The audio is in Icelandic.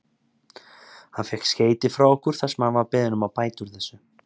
Hann fékk skeyti frá okkur þar sem hann var beðinn að bæta úr þessu.